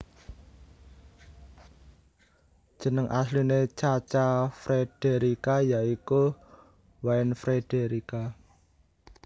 Jeneng asline Cha Cha Frederica ya iku Wynne Frederica